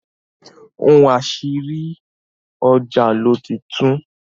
ohun àṣírí, ọjà ló ti tún.